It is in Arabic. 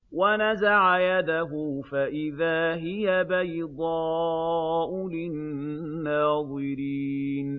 وَنَزَعَ يَدَهُ فَإِذَا هِيَ بَيْضَاءُ لِلنَّاظِرِينَ